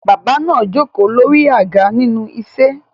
Bàbá náà jókòó lórí àga nínú ese